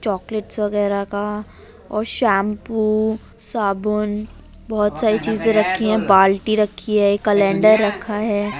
Chocolates वगैरह का और शैंपू साबून बहोत सारी चीजें रखी हैं। बाल्टी रखी है। कैलेंडर रखा है।